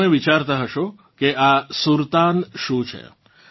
તમે વિચારતાં હશો કે આ સુરતાન શું છે